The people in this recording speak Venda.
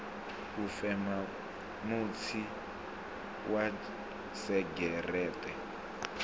u fema mutsi wa segereṱe